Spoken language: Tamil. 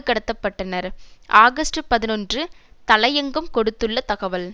கடத்த பட்டனர் ஆகஸ்ட் பதினொன்று தலையங்கம் கொடுத்துள்ள தகவல்